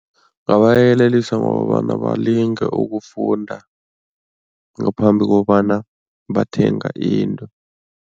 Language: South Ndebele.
Ngabayelelisa ngokobana balinge ukufunda, ngaphambi kobana bathenga into.